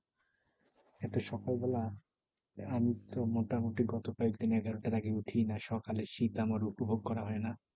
এত সকাল বেলা আমি তো মোটামুটি গত কয়েকদিন এগারোটার আগে উঠিনা। সকালে শীত আমার উপভোগ করা হয় না।